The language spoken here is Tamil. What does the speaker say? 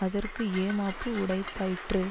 அதற்கு ஏமாப்பு உடைத்தாயிற்று